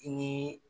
I ni